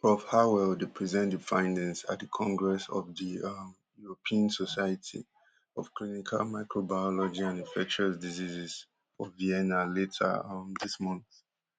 prof harwell dey present di findings at di congress of the um european society of clinical microbiology and infectious diseases for vienna later um dis month